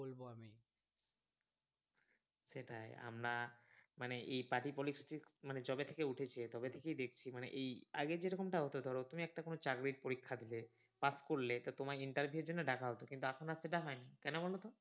সেটাই আমরা মানে এই party politics মানে যবে থেকে উঠেছে তবে থেকেই দেখছি মানে এই আগে যেরকমটা হত ধরো তুমি একটা কোনো চাকরির পরীক্ষা দিলে pass করলে তা তোমার interview এর জন্য ডাকা হত কিন্তু এখন সেটা হয়না কেন বলত